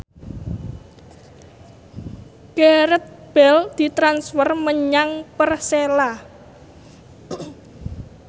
Gareth Bale ditransfer menyang Persela